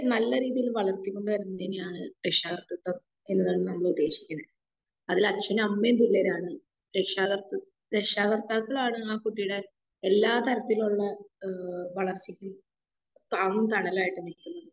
നല്ല രീതിയിൽ വളർത്തി കൊണ്ട് വരുന്നതിനെയാണ് രക്ഷാ കർത്തിത്വം എന്നതായി നമ്മള് ഉദ്ദേശിക്കുന്നേ. അതില് അച്ഛനും അമ്മയും തുല്യരാണ്. രക്ഷാ കർത്തി രക്ഷാ കർത്താക്കളാണ് ആഹ് കുട്ടിയുടെ എല്ലാ തരത്തിലുള്ള ഏഹ് വളർച്ചക്കും ഏഹ് താങ്ങും തണലുമായിട്ട് നിക്കുന്നത്.